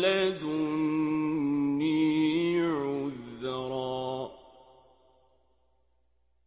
لَّدُنِّي عُذْرًا